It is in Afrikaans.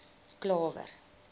klawer